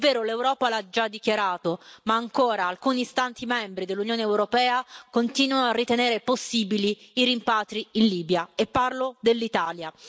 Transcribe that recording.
È vero, l'Europa lo ha già dichiarato, ma ancora alcuni Stati membri dell'Unione europea continuano a ritenere possibili i rimpatri in Libia, e parlo dell'Italia.